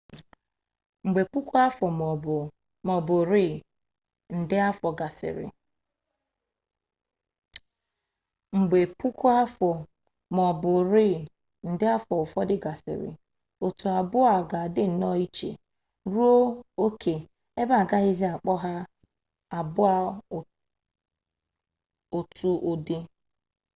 mgbe puku afọ maọbụ rịị nde afọ ụfọdụ gasịrị otu abụọ a ga adị nnọọ iche ruo oke ebe agaghịzị akpọ ha abụọ otu ụdị